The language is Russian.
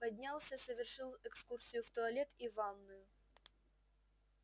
поднялся совершил экскурсию в туалет и ванную